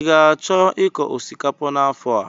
Ị ga-achọ ịkọ osikapa n'afọ a?